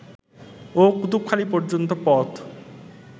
ও কুতুবখালি পর্যন্ত পথ